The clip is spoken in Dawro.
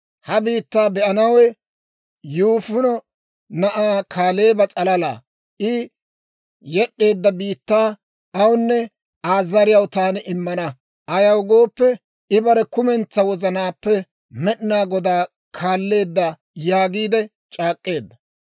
He biittaa be'anawe Yifune na'aa Kaaleeba s'alalaa. I yed'd'eedda biittaa awunne Aa zariyaw taani immana; ayaw gooppe, I bare kumentsaa wozanaappe Med'inaa Godaa kaalleedda› yaagiide c'aak'k'eedda.